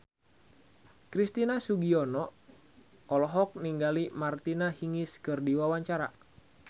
Christian Sugiono olohok ningali Martina Hingis keur diwawancara